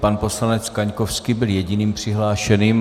Pan poslanec Kaňkovský byl jediným přihlášeným.